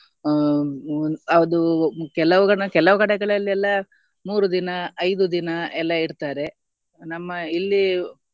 ಅಹ್ ಅದು ಕೆಲವು ಕೆಲವು ಕಡೆಗಳಲ್ಲಿ ಎಲ್ಲ ಮೂರು ದಿನ ಐದು ದಿನ ಎಲ್ಲ ಇಡ್ತಾರೆ ನಮ್ಮ ಇಲ್ಲಿ